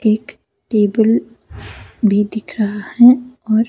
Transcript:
एक टेबल भी दिख रहा है और--